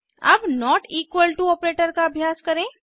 अब not equal to operator का अभ्यास करें